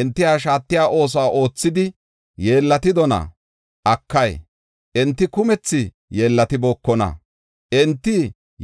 Enti ha shaatiya oosuwa oothidi yeellatidona? Akay, enti kumethi yeellatibookona; enti